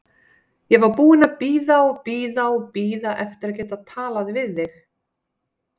Ég var búin að bíða og bíða og bíða eftir að geta talað við þig.